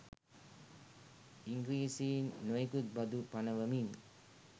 ඉංග්‍රීසින් නොයෙකුත් බදු පනවමින්